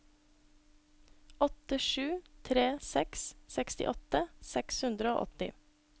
åtte sju tre seks sekstiåtte seks hundre og åtti